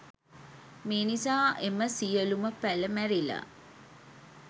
මේ නිසා එම සියළුම පැළ මැරිලා.